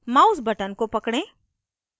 mouse button को पकड़ें